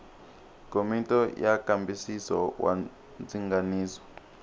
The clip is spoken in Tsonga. komiti ya nkambisiso wa ndzinganiso